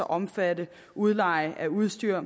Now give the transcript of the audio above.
omfatte udleje af udstyr